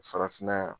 Farafinna yan